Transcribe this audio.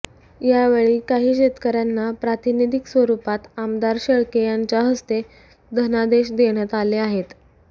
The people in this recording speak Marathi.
या वेळी काही शेतकऱ्यांना प्रातिनिधिक स्वरुपात आमदार शेळके यांच्या हस्ते धनादेश देण्यात आले आहेत